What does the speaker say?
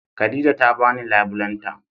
Khadijah ta bani labulen ta